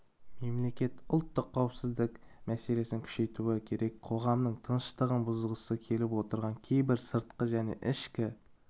мемлекет ұлттық қауіпсіздік мәселесін күшейтуі керек қоғамның тыныштығын бұзғысы келіп отырған кейбір сыртқы және ішкі